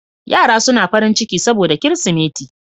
Yara suna farin ciki saboda Kirsimeti